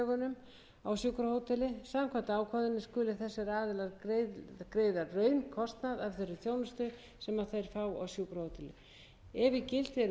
þeirri þjónustu sem þeir fá á sjúkrahóteli ef í gildi eru milliríkjasamningar um þjónustuna gilda þeir um gjaldtöku af